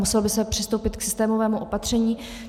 Muselo by se přistoupit k systémovému opatření.